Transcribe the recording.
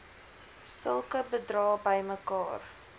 sulke bedrae bymekaar